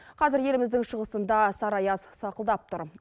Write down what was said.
қазір еліміздің шығысында сары аяз сақылдап тұр